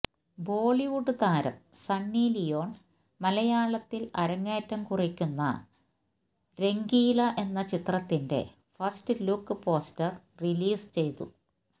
ബോളിവുഡ് താരം Sunny Leone മലയാളത്തില് അരങ്ങേറ്റം കുറിക്കുന്ന രംഗീല എന്ന ചിത്രത്തിന്റെ ഫസ്റ്റ് ലുക്ക് പോസ്റ്റര് റിലീസ് ചെയ്തു